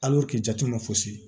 jate ma fosi